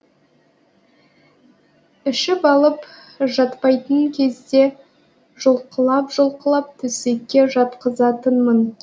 ішіп алып жатпайтын кезде жұлқылап жұлқылап төсекке жатқызатынмын